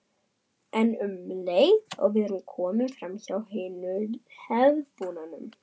En um leið og við erum komnir framhjá hinu hefðbundna